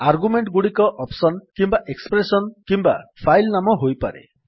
argument ଗୁଡିକ option କିମ୍ୱା expression କିମ୍ୱା ଫାଇଲ୍ ନାମ ହୋଇପାରେ